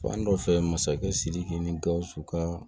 Fan dɔ fɛ masakɛ sidiki ni gausu ka